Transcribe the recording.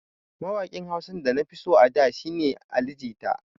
Mawaƙin Hausa da na fi so a da shi ne Ali jita.